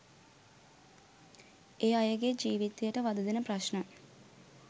ඒ අයගේ ජීවිතයට වධදෙන ප්‍රශ්න